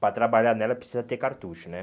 Para trabalhar nela precisa ter cartucho né.